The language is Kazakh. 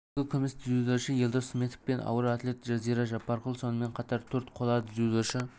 екі күміс дзюдошы елдос сметов пен ауыр атлет жазира жаппарқұл сонымен қатар төрт қола дзюдошы